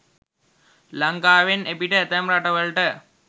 ලංකාවෙන් එපිට ඇතැම් රටවලට